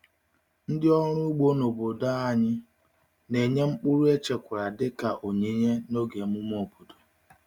Ndị ọrụ ugbo n’obodo um anyị na-enye mkpụrụ echekwara dị ka onyinye n’oge emume obodo.